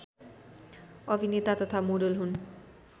अभिनेता तथा मोडल हुन्